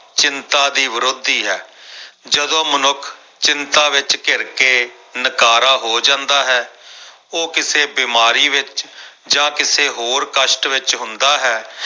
ਚਿੰਤਾ ਦੀ ਵਿਰੋਧੀ ਹੈ ਜਦੋਂ ਮਨੁੱਖ ਚਿੰਤਾ ਵਿੱਚ ਘਿਰ ਕੇ ਨਕਾਰਾ ਹੋ ਜਾਂਦਾ ਹੈ ਉਹ ਕਿਸੇ ਬਿਮਾਰੀ ਵਿੱਚ ਜਾਂ ਕਿਸੇ ਹੋਰ ਕਸ਼ਟ ਵਿੱਚ ਹੁੰਦਾ ਹੈ।